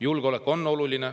Julgeolek on oluline.